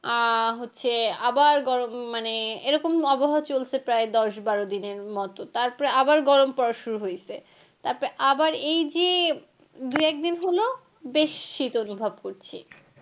আহ হচ্ছে আবার গরম মানে এরকম আবহাওয়া চলছে প্রায় দশ বারো দিনের মতো তারপরে আবার গরম পড়া শুরু হইছে তারপরে আবার এই যে দু একদিন হলো বেশ শীত অনুভব করছি।